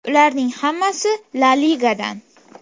Ularning hammasi La Ligadan.